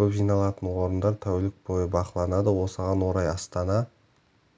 көп жиналатын орындар тәулік бойы бақыланады осыған орай астана